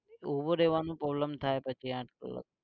ઉભું રેવાનું problem થાય પછી આંઠ કલાક